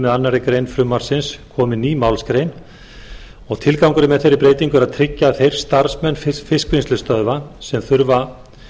með annarri grein frumvarpsins komi ný málsgrein tilgangurinn með þeirri breytingu er að tryggja að þeir starfsmenn fiskvinnslustöðva sem þurfa